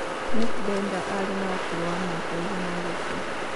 Nick Denda arĩ no ũkũrũ wa miaka ĩgana agĩkũa